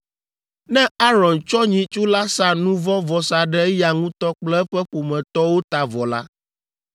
“Ne Aron tsɔ nyitsu la sa nu vɔ̃ vɔsa ɖe eya ŋutɔ kple eƒe ƒometɔwo ta vɔ la,